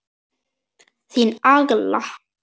Þín Agla.